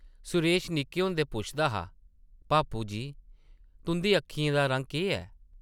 सुरेश निक्के होंदे पुछदा हा, ‘‘भापू जी, तुंʼदी अक्खें दा रंग केह् ऐ ?’’